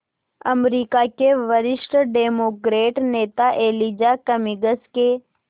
अमरीका के वरिष्ठ डेमोक्रेट नेता एलिजा कमिंग्स के